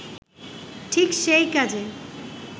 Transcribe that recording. ঠিক সেই কাজে